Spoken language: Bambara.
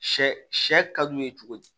Sɛ sɛ ka d'u ye cogo di